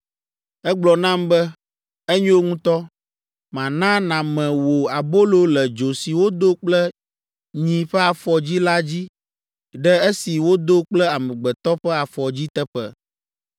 Egblɔ nam be, “Enyo ŋutɔ; mana nàme wò abolo le dzo si wodo kple nyi ƒe afɔdzi la dzi ɖe esi wodo kple amegbetɔ ƒe afɔdzi teƒe.”